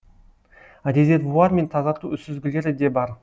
резервуар мен тазарту сүзгілері де бар